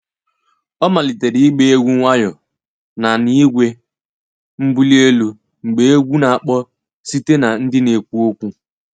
Ọ malitere ịgba egwu nwayọ na na igwe mbuli elu mgbe egwu na-akpọ site na ndị na-ekwu okwu